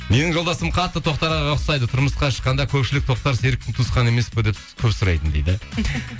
менің жолдасым қатты тоқтар ағаға ұқсайды тұрмысқа шыққанда көпшілік тоқтар серіковтың туысқаны емес пе деп с көп сұрайтын дейді